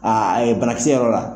a ye banakisɛ yɔrɔ la.